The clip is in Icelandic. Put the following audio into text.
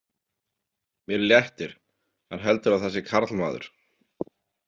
Mér léttir, hann heldur að það sé karlmaður.